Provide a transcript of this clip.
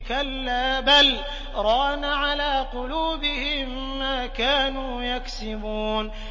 كَلَّا ۖ بَلْ ۜ رَانَ عَلَىٰ قُلُوبِهِم مَّا كَانُوا يَكْسِبُونَ